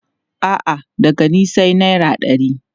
A'a, daga ni sai naira ɗari.